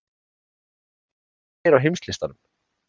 Hvar eru þeir á heimslistanum?